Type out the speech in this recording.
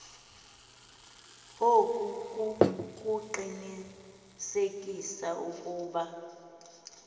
oku kukuqinisekisa ukuba